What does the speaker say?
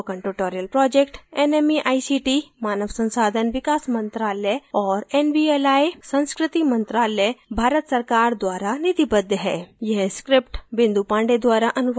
spoken tutorial project nmeict मानव संसाधन विकास मंत्रायल और nvli संस्कृति मंत्रालय भारत सरकार द्वारा निधिबद्ध है